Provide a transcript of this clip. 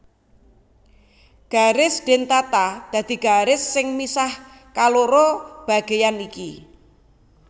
Garis dentata dadi garis sing misah kaloro bageyan iki